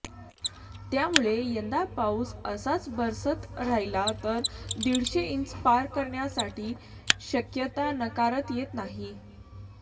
त्यामुळे यंदा पाऊस असाच बरसत राहिला तर दीडशे इंच पार करण्याची शक्यता नाकारता येत नाही